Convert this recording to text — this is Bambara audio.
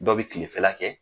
Dɔw bi kilefɛla kɛ